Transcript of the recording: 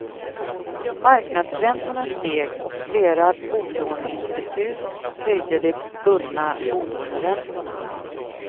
Marknadsräntorna steg och flera bolåneinstitut höjde de bundna bolåneräntorna.